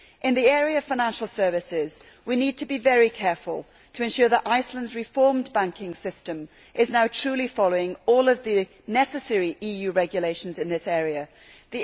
In the area of financial services we need to be very careful to ensure that Iceland's reformed banking system is now truly following all of the necessary EU regulations in this field.